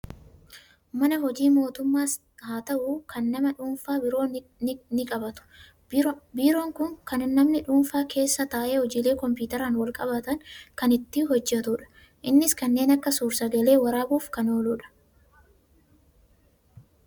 Mana hojii mootummaas haa ta'u, kan nama dhuunfaa biiroo ni qabaatu. Biiroon kun kan namni dhuunfaan keessa taa'ee hojiilee kompiitaraan wal qabatan kan hojjetudha. Innis kanneen akka suur sagalee waraabuuf kan ooludha.